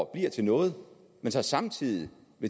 bliver til noget og så samtidig